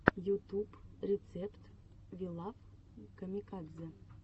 ютуб рецепт ви лав камикадзе